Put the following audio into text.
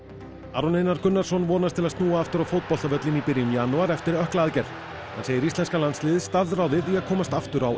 Aron Einar Gunnarsson vonast til að snúa aftur á fótboltavöllinn í byrjun janúar eftir ökklaaðgerð hann segir íslenska landsliðið staðráðið í að komast aftur á